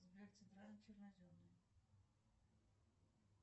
сбер центральный черноземный